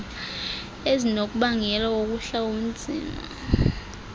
ezingunobangela wokuhla kobunzima